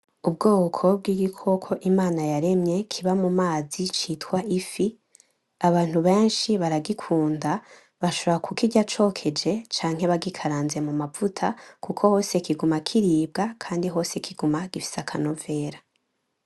Ubwoko bw'ikoko Imana yaremye kiba mu mazi citwa ifi. Abantu benshi baragikunda, bashobora kukirya cokeje canke bagikaranze mu mavuta, kuko hose kiguma kiribwa, kandi hose kiguma gifise akanovera.